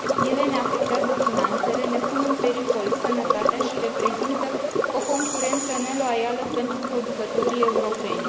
Ele ne afectează finanțele, ne pun în pericol sănătatea și reprezintă o concurență neloială pentru producătorii europeni.